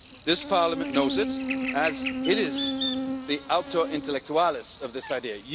This Parliament knows it as it is the auctor intellectualis of this idea.